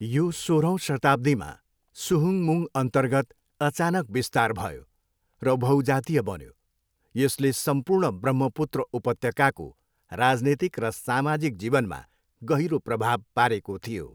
यो सोह्रौँ शताब्दीमा सुहुङमुङअन्तर्गत अचानक बिस्तार भयो र बहुजातीय बन्यो, यसले सम्पूर्ण ब्रह्मपुत्र उपत्यकाको राजनीतिक र सामाजिक जीवनमा गहिरो प्रभाव पारेको थियो।